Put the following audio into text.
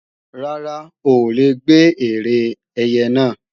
Rárá, o ò lè gbé ère ẹyẹ náà